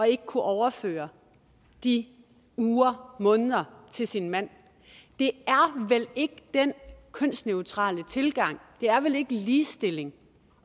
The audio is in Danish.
ikke at kunne overføre de uger måneder til sin mand det er vel ikke den kønsneutrale tilgang det er vel ikke ligestilling